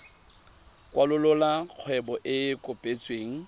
kwalolola kgwebo e e kopetsweng